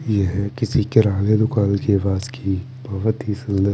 यह किसी किराने दुकान के पास की बहोत ही सुंदर--